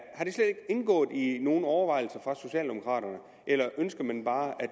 er det slet ikke indgået i nogen overvejelser hos socialdemokraterne eller ønsker man bare at